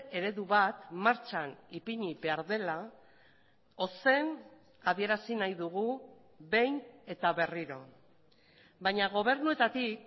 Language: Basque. eredu bat martxan ipini behar dela ozen adierazi nahi dugu behin eta berriro baina gobernuetatik